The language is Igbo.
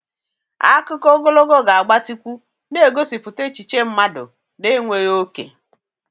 Akụkọ ogologo ga-agbatịkwu, na-egosipụta echiche mmadụ na-enweghị oke.